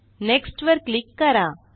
next वर click करा